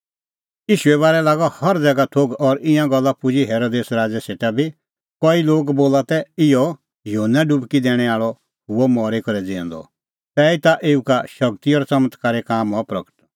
ईशूए बारै लागअ हर ज़ैगा थोघ और ईंयां गल्ला पुजी हेरोदेस राज़ै सेटा बी कई लोग बोला तै इहअ युहन्ना डुबकी दैणैं आल़अ हुअ मरी करै ज़िऊंदअ तैहीता तेऊ का ईंयां शगती और च़मत्कारे काम हआ प्रगट